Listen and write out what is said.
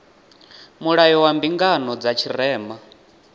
mulayo wa mbingano dza tshirema